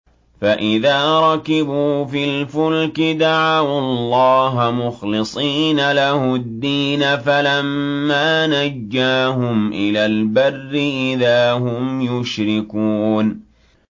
فَإِذَا رَكِبُوا فِي الْفُلْكِ دَعَوُا اللَّهَ مُخْلِصِينَ لَهُ الدِّينَ فَلَمَّا نَجَّاهُمْ إِلَى الْبَرِّ إِذَا هُمْ يُشْرِكُونَ